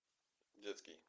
детский